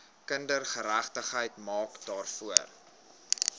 kindergeregtigheid maak daarvoor